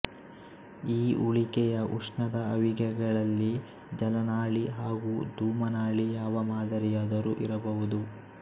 ಈ ಉಳಿಕೆಯ ಉಷ್ಣದ ಅವಿಗೆಗಳಲ್ಲಿ ಜಲನಾಳಿ ಹಾಗೂ ಧೂಮನಾಳಿ ಯಾವ ಮಾದರಿಯಾದರೂ ಇರಬಹುದು